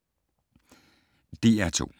DR2